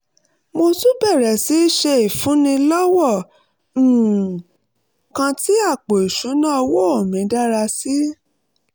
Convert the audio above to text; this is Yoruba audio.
mo tún bẹ̀rẹ̀ sí í ṣe ìfúnni lọ́wọ́ um kan tí àpò ìṣúnná owó mi dára sí i